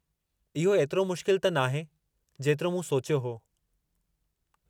इहो एतिरो मुश्किल त नाहे , जेतिरो मूं सोचियो हो.